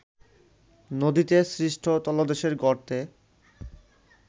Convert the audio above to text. নদীতে সৃষ্ট তলদেশের গর্তে